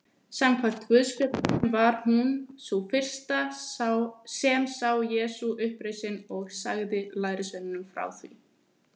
Samkvæmt guðspjöllunum var hún sú fyrsta sem sá Jesú upprisinn og sagði lærisveinunum frá því.